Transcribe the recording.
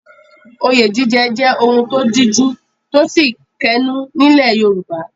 Oyè jíjẹ jẹ́ ohun tó díjú tósì kẹnú nílẹ̀ Yorùbá.